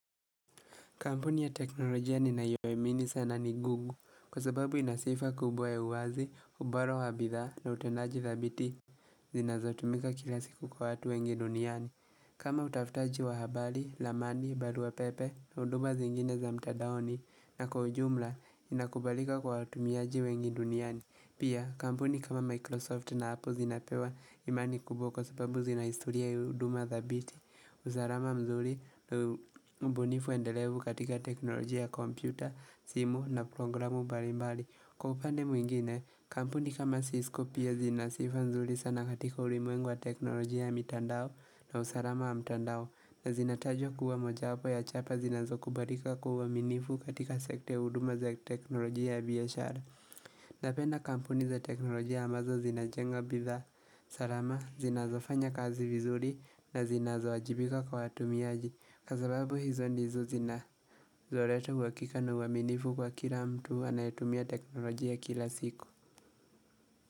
Kampuni ya teknolojia ninayoamini sana ni Google kwa sababu ina sifa kubwa ya uwazi, ubora wa bidhaa na utendaji thabiti zinazotumika kila siku kwa watu wengi duniani. Kama utafutaji wa habari, lamani, barua pepe na huduma zingine za mtadaoni na kwa ujumla inakubalika kwa watumiaji wengi duniani. Pia, kampuni kama Microsoft na Apple zinapewa imani kuboko sababu zinaistoria ya huduma thabiti, usalama mzuri na ubunifu endelevu katika teknolojia ya kompyuta, simu na programu mbalimbali. Kwa upande mwingine, kampuni kama Cisco pia zina sifa mzuri sana katika ulimuengwa teknolojia ya mitandao na usalama ya mitandao na zinatajwa kuwa moja upo ya chapa zinazo kubarika kwa uaminifu katika sekta huduma za teknolojia ya biashara. Napenda kampuni za teknolojia ambazo zinajenga bidhaa salama zinazo fanya kazi vizuri na zinazo ajibika kwa watumiaji Kwa sababu hizo ndizo zina zoreto uhakika na uaminifu kwa kila mtu anayetumia teknolojia kila siku.